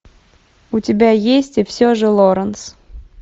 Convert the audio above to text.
у тебя есть и все же лоранс